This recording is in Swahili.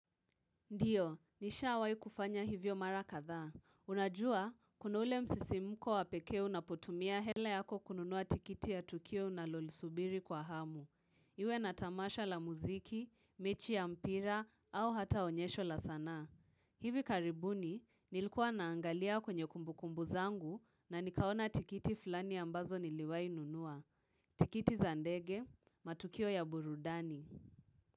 Ndio, nishawai kufanya hivyo mara kadhaa. Unajua, kuna ule msisimko wa pekee unapotumia hela yako kununua tikiti ya tukio unalolisubiri kwa hamu. Iwe na tamasha la muziki, mechi ya mpira, au hata onyesho la sanaa. Hivi karibuni, nilikuwa naangalia kwenye kumbukumbu zangu na nikaona tikiti fulani ambazo niliwai nunua. Tikiti za ndege, matukio ya burudani.